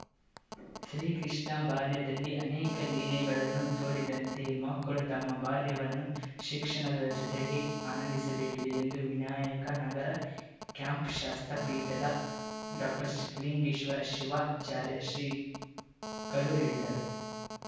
ಶ್ರೀಕೃಷ್ಣ ಬಾಲ್ಯದಲ್ಲಿ ಅನೇಕ ಲೀಲೆಗಳನ್ನು ತೋರಿದಂತೆ ಮಕ್ಕಳು ತಮ್ಮ ಬಾಲ್ಯವನ್ನು ಶಿಕ್ಷಣದ ಜತೆ ಆನಂದಿಸಬೇಕಿದೆ ಎಂದು ವಿನಾಯಕ ನಗರ ಕ್ಯಾಂಪ್‌ ಶಾಸ್ತ ಪೀಠದ ಡಾಕ್ಟರ್ಸಿದ್ದಲಿಂಗೇಶ್ವರ ಶಿವಾಚಾರ್ಯ ಶ್ರೀಗಳು ಹೇಳಿದರು